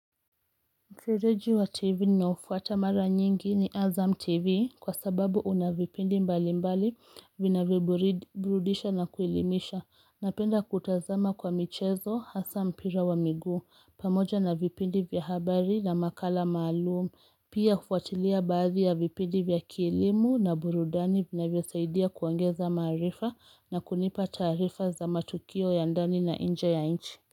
Mkireji wa TV ninaofuata mara nyingi ni Azam TV kwa sababu unavipindi mbali mbali vinavyoburudisha na kuelimisha. Napenda kutazama kwa michezo hasa mpira wa miguu pamoja na vipindi vya habari na makala maalumu. Pia hufuatilia baadhi ya vipindi vya kielimu na burudani vinavyosaidia kuongeza maarifa na kunipa taarifa za matukio ya ndani na inje ya inchi.